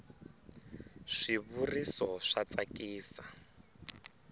swi vuriso swa tsakisa